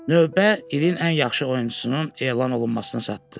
Növbə ilin ən yaxşı oyunçusunun elan olunmasına çatdı.